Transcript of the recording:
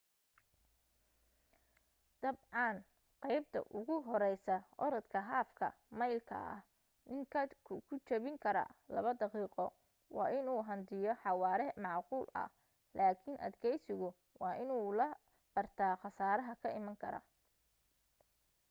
dab can qeybta ugu horeysa orodka haafka maylka ah nin ka ku jabin kara laba daqiiqo waa inuu hantiyo xawaare macquul ah laakin adkeysigu waa inuu la bartaa qasaaraha ka iman kara